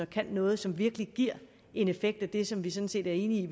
kan noget som virkelig giver en effekt af det som vi sådan set er enige